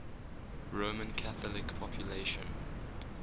roman catholic population